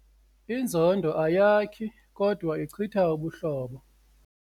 Inzondo ayakhi kodwa ichitha ubuhlobo.